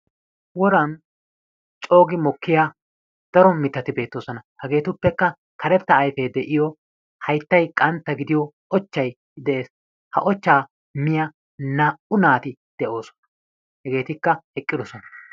Woraan coogi mokkiyaa daro mittati beettoosona. Hageetuppekka karettaa ayfee de'iyoo hayttay qantta gidiyoo ochchay de'es. Ha ochchaa miyiyaa naa"u naati de"oosona. Hegeetikka eqqidosona.